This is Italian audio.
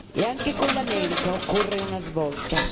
E anche con l'America occorre una svolta.